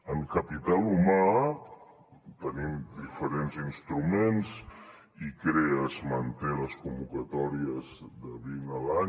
en capital humà tenim diferents instruments icrea manté les convocatòries de vint a l’any